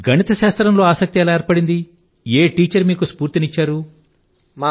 గణితశాస్త్రం లో ఆసక్తి ఎలా ఉండేది ఏ మాస్టారు మీకు స్ఫూర్తి ని ఇచ్చారంటారు